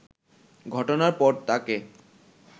ঘটনার পর তাকে